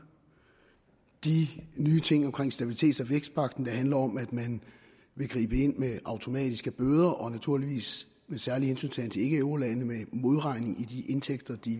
de nye ting omkring stabilitets og vækstpagten der handler om at man vil gribe ind med automatiske bøder og naturligvis med særlig hensyntagen til ikkeeurolande med modregning i de indtægter de